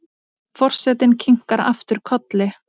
Forsetinn kinkar aftur kolli.